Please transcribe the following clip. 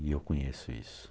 E eu conheço isso.